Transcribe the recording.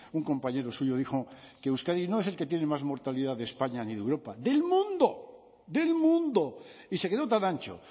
un compañero suyo dijo que euskadi no es el que tiene más mortalidad de españa ni de europa del mundo del mundo y se quedó tan ancho